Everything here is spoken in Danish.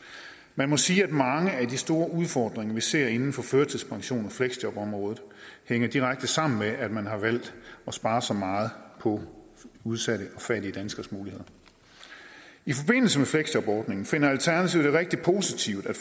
man må sige at mange af de store udfordringer vi ser inden for førtidspensionen og fleksjobområdet hænger direkte sammen med at man har valgt at spare så meget på udsatte og fattige danskeres muligheder i forbindelse med fleksjobordningen finder alternativet det rigtig positivt at